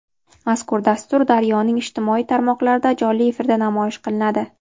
Mazkur dastur "Daryo"ning ijtimoiy tarmoqlarida jonli efirda namoyish qilinadi.